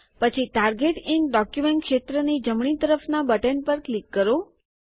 પછી target in document ક્ષેત્રની જમણી તરફના બટન પર ક્લિક કરો